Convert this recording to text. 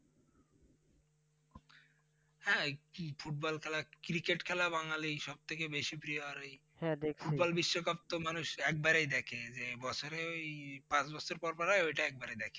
হ্যাঁ সংস্কৃত football খেলা cricket খেলা বাঙালির সব থেকে বেশি প্রিয়, আর ওই football বিশ্বকাপ তো মানুষ একবারই দেখে যে বছরে ওই পাঁচ বছর পর পর হয় ওটা একবারই দেখে।